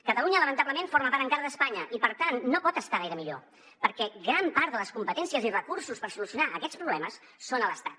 catalunya lamentablement forma part encara d’espanya i per tant no pot estar gaire millor perquè gran part de les competències i recursos per solucionar aquests problemes són a l’estat